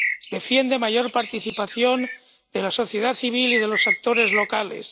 defiende una mayor participación de la sociedad civil y de los actores locales